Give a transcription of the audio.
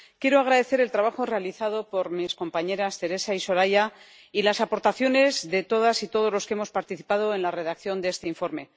Quiero agradecer el trabajo realizado por mis compañeras Teresa y Soraya y las aportaciones de todas y todos los que hemos participado en la redacción de este informe.